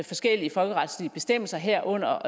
forskellige folkeretslige bestemmelser herunder